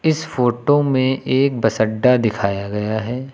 इस फोटो में एक बस अड्डा दिखाया गया है।